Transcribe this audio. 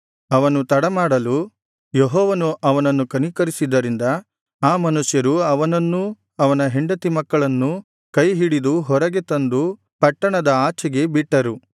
ಅವನು ತಡಮಾಡಲು ಯೆಹೋವನು ಅವನನ್ನು ಕನಿಕರಿಸಿದ್ದರಿಂದ ಆ ಮನುಷ್ಯರು ಅವನನ್ನೂ ಅವನ ಹೆಂಡತಿ ಮಕ್ಕಳನ್ನೂ ಕೈಹಿಡಿದು ಹೊರಗೆ ತಂದು ಪಟ್ಟಣದ ಆಚೆಗೆ ಬಿಟ್ಟರು